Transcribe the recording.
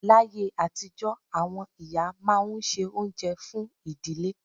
Láyé àtijọ́, àwọn ìyá máa ń se oúnjẹ fún ìdílé